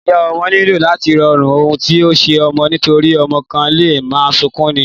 Ìyá ọmọ nílò làti ronú ohun tí o ṣe ọmọ nítorí ọmọ kàn leè ma sunkún ni